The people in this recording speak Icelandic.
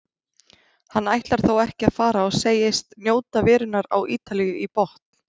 Hann ætlar þó ekki að fara og segist njóta verunnar á Ítalíu í botn.